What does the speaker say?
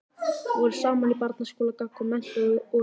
Voru saman í barnaskóla, gaggó, menntó og háskólanum.